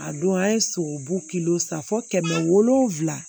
A don an ye sogobu kilo san fo kɛmɛ wolonwula